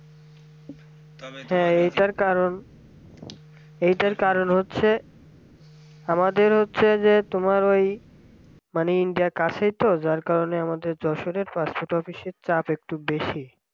এইটার কারণ এটার কারণ হচ্ছে আমাদের হচ্ছে যে তোমার ওই মানে ইন্ডিয়া কাছে তো যার কারণে আমাদের যশোরের passport office র চাপ একটু বেশি